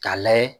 K'a layɛ